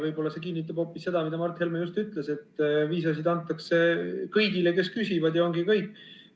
Võib-olla see kinnitab hoopis seda, mida Mart Helme just ütles, et viisasid antakse kõigile, kes küsivad, ja ongi kõik.